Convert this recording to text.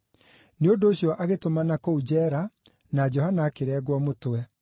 Nĩ ũndũ ũcio agĩtũmana kũu njeera na Johana akĩrengwo mũtwe.